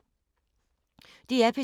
DR P2